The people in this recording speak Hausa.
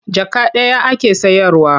Jaka ɗaya ake sayarwa.